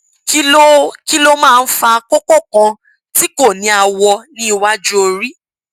kí ló kí ló máa ń fa kókó kan tí kò ní àwọ ní iwájú orí